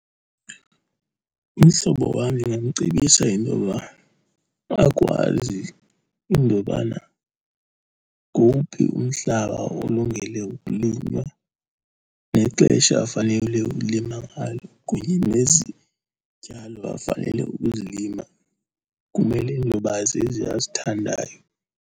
Umhlobo wam ndingamcebisa intoba akwazi intobana ngowuphi umhlaba olungele ukulinywa nexesha afanele ulima ngalo, kunye nezityalo afanele ukuzilima kumele intoba zezi azithandayo.